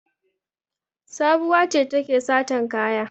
Sabuwa ce take satan kaya.